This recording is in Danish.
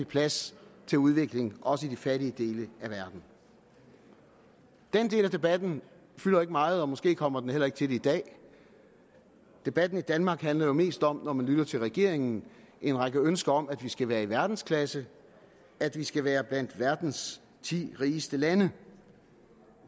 plads til udvikling også i de fattige dele af verden den del af debatten fylder ikke meget og måske kommer den heller ikke til det i dag debatten i danmark handler jo mest om når man lytter til regeringen en række ønsker om at vi skal være i verdensklasse at vi skal være blandt verdens ti rigeste lande